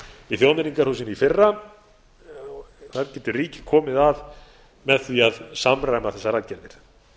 í þjóðmenningarhúsinu í fyrra þar getur ríkið komið að með því að samræma þessar aðgerðir